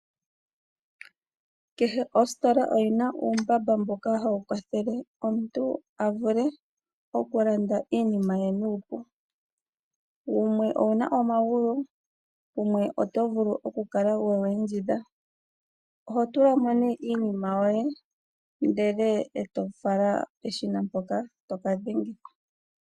Kehe ositola oyi na uumbamba mboka hawu kwathele omuntu a vule okulanda iinima ye nuupu wumwe owu na omagulu wumwe oto vulu okukala wewu endjidha oho tulamo nee iinima yoye e to fala peshina mpoka toka dhengitha.